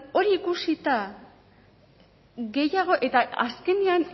orduan hori ikusita gehiago eta azkenean